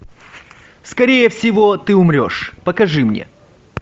скорее всего ты умрешь покажи мне